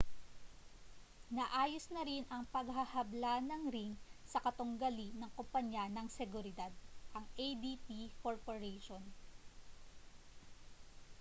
naayos na rin ang paghahabla ng ring sa katunggali na kompanya ng seguridad ang adt corporation